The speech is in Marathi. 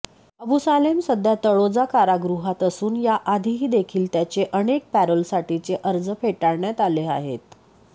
अबू सालेम सध्या तळोजा कारागृहात असून याआधीही देखील त्याचे अनेक पॅरोलसाठीचे अर्ज फेटाळण्यात आले आहेत